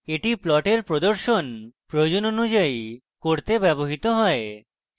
এটি প্লটের প্রদর্শন প্রয়োজন অনুযায়ী করতে ব্যবহৃত হয়